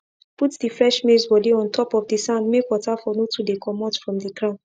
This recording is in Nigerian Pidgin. put the fresh maize body on top of the sand make water for no too dey comot from the ground